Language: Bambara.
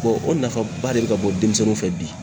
o nafaba de bɛ ka bɔ denmisɛnninw fɛ bi.